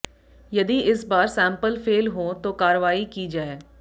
यदि इस बार सैंपल फेल हों तो कार्रवाई की जाए